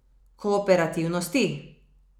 Kooperativnosti?